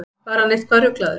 Var hann eitthvað ruglaður?